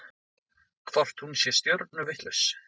Hvort hún sé stjörnuvitlaus?